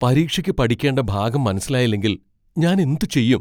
പരീക്ഷയ്ക്ക് പഠിക്കേണ്ട ഭാഗം മനസ്സിലായില്ലെങ്കിൽ ഞാൻ എന്ത് ചെയ്യും?